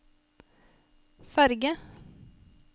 ferge